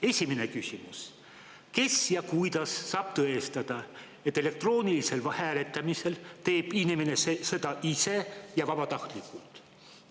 Esimene küsimus: kes ja kuidas saab tõestada, et elektroonilisel hääletamisel teeb inimene seda ise ja vabatahtlikult?